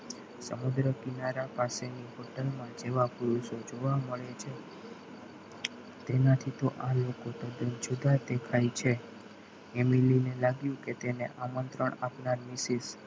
સમુદ્ર કિનારા પાસેની બૌદ્ધમાં જેવા પુરુષો જોવા મળે છે તેનાથી તો આ લોકો તદ્દન જુદા જ દેખાય છે. family ને લાગ્યું કે તેને આમંત્રણ આપવાની વિશે